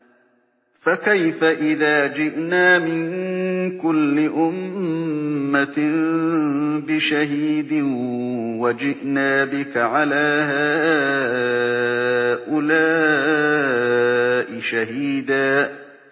فَكَيْفَ إِذَا جِئْنَا مِن كُلِّ أُمَّةٍ بِشَهِيدٍ وَجِئْنَا بِكَ عَلَىٰ هَٰؤُلَاءِ شَهِيدًا